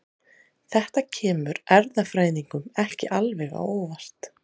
Þetta kemur erfðafræðingum ekki alveg á óvart.